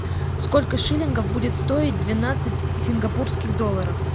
сколько шиллингов будет стоить двенадцать сингапурских долларов